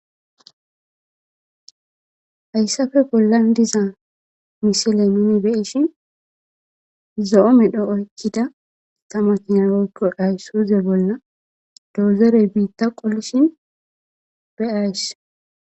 Haysape bolan diza missile nuni be'ishin zo'o medho oykida ta makina woyko isuze bola dozere bita qolishin be'ays.